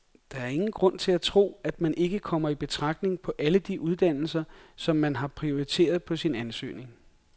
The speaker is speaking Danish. Der er ingen grund til at tro, at man ikke kommer i betragtning på alle de uddannelser, som man har prioriteret på sin ansøgning.